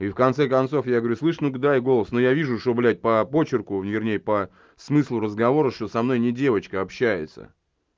и в конце концов я говорю слышишь ну-ка дай голос но я вижу что блядь по почерку вернее по смыслу разговора что со мной не девочка общается